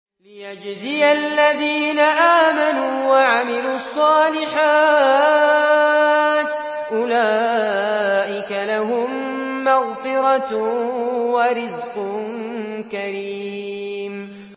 لِّيَجْزِيَ الَّذِينَ آمَنُوا وَعَمِلُوا الصَّالِحَاتِ ۚ أُولَٰئِكَ لَهُم مَّغْفِرَةٌ وَرِزْقٌ كَرِيمٌ